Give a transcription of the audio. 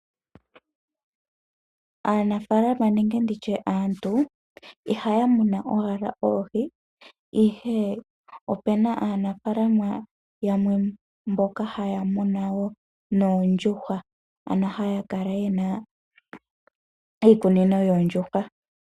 Aanafaalama nenge aantu, ihaya munu owala oohi, ihe opuna aanafaalama yamwe mboka haya munu wo noondjuhwa. Mono haya kala yena iikunino yoondjuhwa.